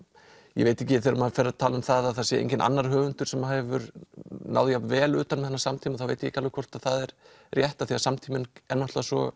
ég veit ekki þegar maður fer að tala um það að það sé enginn annar höfundur sem að hefur náð jafn vel utan um þennan samtíma þá veit ég ekki alveg hvort að það er rétt af því að samtíminn er náttúrulega svo